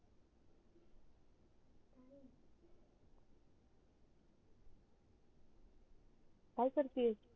काय करते